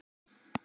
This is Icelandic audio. Anný